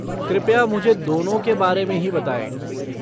कृपया, मुझे दोनों के बारे में ही बताएँ।